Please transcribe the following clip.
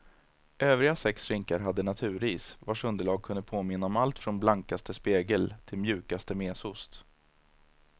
Övriga sex rinkar hade naturis, vars underlag kunde påminna om allt från blankaste spegel till mjukaste mesost.